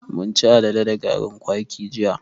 Mun chi alale da garin kwaki jiya.